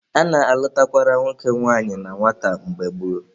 A na-alụtakwara nwoke nwanyị na nwata mgbe gboo